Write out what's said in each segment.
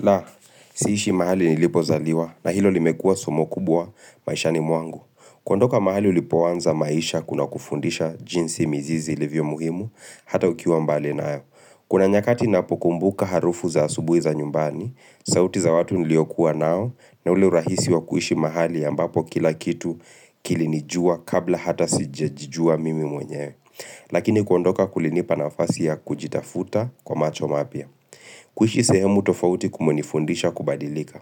La, siishi mahali nilipo zaliwa na hilo limekua sumo kubwa maishani mwangu. Kuondoka mahali ulipo anza maisha kuna kufundisha jinsi mizizi ilivyo muhimu hata ukiwa mbali nayo. Kuna nyakati napo kumbuka harufu za asubui za nyumbani, sauti za watu niliokuwa nao na uleurahisi wa kuishi mahali ambapo kila kitu kilinijua kabla hata sijajijua mimi mwenyewe. Lakini kuondoka kulinipa nafasi ya kujitafuta kwa macho mapya. Kuishi sehemu tofauti kumenifundisha kubadilika.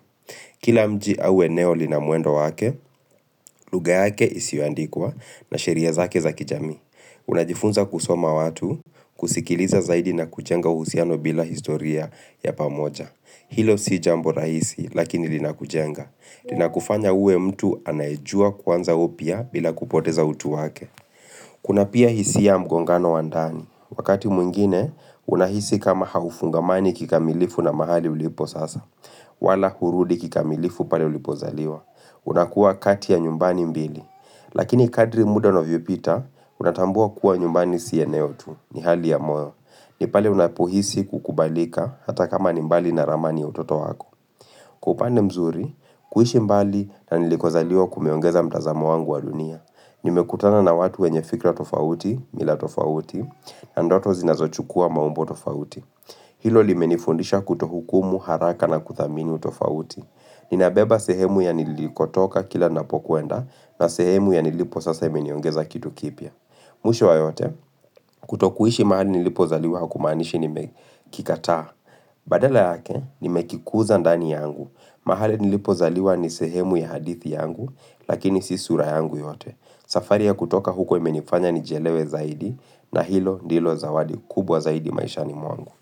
Kila mji au eneo lina muendo wake, lugha yake isiyoandikwa na sheria zake za kijamii. Unajifunza kusoma watu, kusikiliza zaidi na kujenga uhusiano bila historia ya pamoja. Hilo si jambo raisi lakini lina kujenga. Lina kufanya uwe mtu anaejua kwanza upya bila kupoteza utu wake. Kuna pia hisiya mgongano wandani. Wakati mwingine, unahisi kama haufungamani kikamilifu na mahali ulipo sasa. Wala hurudi kikamilifu pale ulipozaliwa. Unakuwa kati ya nyumbani mbili. Lakini kadri muda unavyopita, unatambua kuwa nyumbani si eneo tu ni hali ya moyo. Ni pale unapohisi kukubalika hata kama nimbali na ramani ya utoto wako. Kwa upande mzuri, kuishi mbali na nilikozaliwa kumeongeza mtazamo wangu wadunia. Nimekutana na watu wenye fikra tofauti, mila tofauti, na ndoto zinazochukua maumbo tofauti. Hilo limenifundisha kutohukumu haraka na kuthamini tofauti. Ninabeba sehemu ya niliko toka kila napokuenda na sehemu ya nilipo sasa imeniongeza kitu kipya. Mwisho wa yote, kutokuishi mahali nilipoza liwa hakumanishi nimekikataa. Badala yake, nimekikuza ndani yangu, mahali nilipo zaliwa nisehemu ya hadithi yangu, lakini sisura yangu yote. Safari ya kutoka huko imenifanya njielewe zaidi, na hilo ndilo zawadi kubwa zaidi maisha ni mwangu.